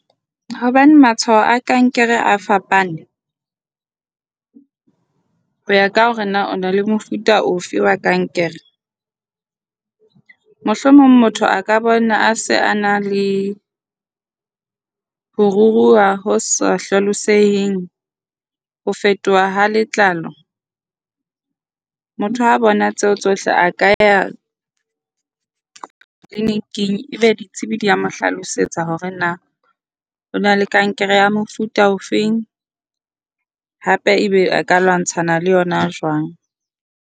Hobane matshwao a kankere a fapane ho ya ka hore na o na le mofuta ofe wa kankere, mohlomong motho a ka bona a se a na le ho ruruha ho sa hlalosang. Ho fetoha ha letlalo. Motho ha a bona tseo tsohle a ka ya clinic-ing. Ebe ditsebi di a mo hlalosetsa hore na o na le kankere ya mofuta o fe hape ebe a ka lwantshana le yona jwang.